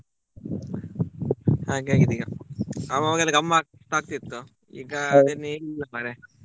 ಹಾಗೆ ಆಗಿದೆ ಈಗ ಅವಗವಾಗೆಲ್ಲ ಗಮ್ಮತಾಗ್ತಾ ಇತ್ತು ಈಗ ಏನಿಲ್ಲ ಮಾರೆ.